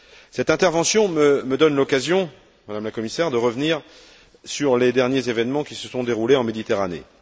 Cette intervention me donne l'occasion, Madame la Commissaire, de revenir sur les derniers événements qui se sont déroulés en Méditerranée.